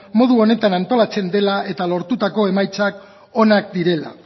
modu honetan antolatzen dela eta lortutako emaitzak onak direla